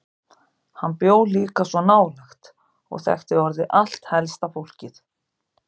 Hann bjó líka svo nálægt og þekkti orðið allt helsta fólkið.